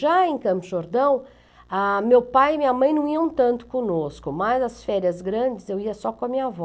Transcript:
Já em Campos do Jordão, ah, meu pai e minha mãe não iam tanto conosco, mas as férias grandes eu ia só com a minha avó.